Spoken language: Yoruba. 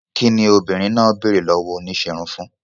Kín ni obìnrin náà béèrè lọ́wọ́ oníṣẹ́ irun fún?